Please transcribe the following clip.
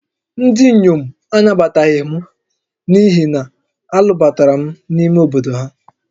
Ndị inyom anabataghị m n'ihi na a lụbatara m n'ime obodo ha